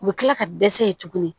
U bɛ kila ka dɛsɛ yen tuguni